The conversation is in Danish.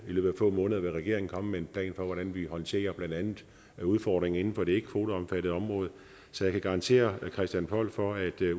løbet af få måneder vil regeringen komme med en plan for hvordan vi håndterer blandt andet udfordringerne inden for det ikke kvoteomfattede område så jeg kan garantere christian poll for at